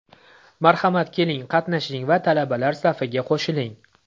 Marhamat, keling, qatnashing va talabalar safiga qo‘shilling!